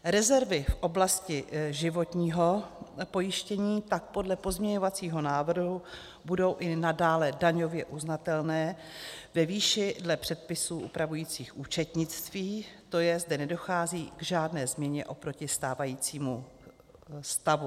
Rezervy v oblasti životního pojištění tak podle pozměňovacího návrhu budou i nadále daňově uznatelné ve výši dle předpisů upravujících účetnictví, to je, zde nedochází k žádné změně oproti stávajícímu stavu.